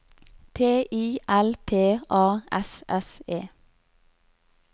T I L P A S S E